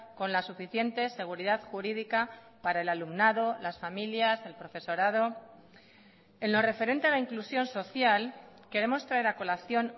con la suficiente seguridad jurídica para el alumnado las familias el profesorado en lo referente a la inclusión social queremos traer a colación